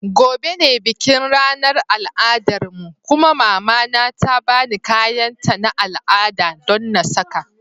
Gobe ​​ne bikin ranar al'adarmu kuma mama na ta ba ni kayanta na al'ada don na saka.